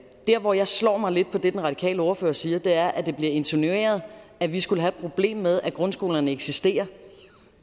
hvor jeg slår mig lidt på det den radikale ordfører siger er at det bliver insinueret at vi skulle have et problem med at grundskolerne eksisterer